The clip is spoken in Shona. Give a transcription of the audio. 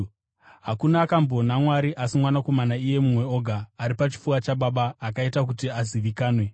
Hakuna akamboona Mwari, asi Mwanakomana Iye Mumwe Oga, ari pachipfuva chaBaba, akaita kuti azivikanwe.